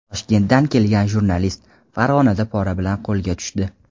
"Toshkentdan kelgan jurnalist" Farg‘onada pora bilan qo‘lga tushdi.